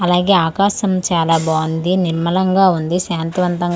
అలాగే ఆకాశం చాలా బాగుంది నిర్మలంగా ఉంది శాంతి వంతంగా ఉ--